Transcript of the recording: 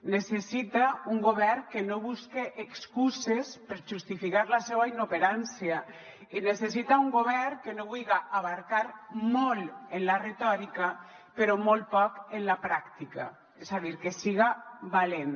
necessita un govern que no busque excuses per justificar la seua inoperància i necessita un govern que no vulga abastar molt en la retòrica però molt poc en la pràctica és a dir que siga valent